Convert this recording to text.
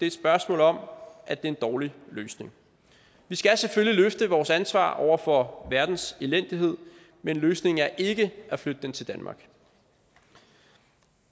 et spørgsmål om at det er en dårlig løsning vi skal selvfølgelig løfte vores ansvar over for verdens elendighed men løsningen er ikke at flytte den til danmark